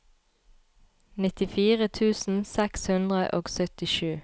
nittifire tusen seks hundre og syttisju